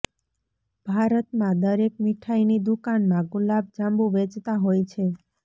ભારતમાં દરેક મિઠાઇની દુકાનમાં ગુલાબ જાંબુ વેચતા હોય છે